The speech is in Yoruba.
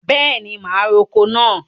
Bẹẹni, ma roko náà.